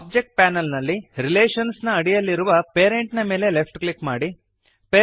object panel ನಲ್ಲಿ relations ನ ಅಡಿಯಲ್ಲಿರುವ ಪೇರೆಂಟ್ ನ ಮೇಲೆ ಲೆಫ್ಟ್ ಕ್ಲಿಕ್ ಮಾಡಿರಿ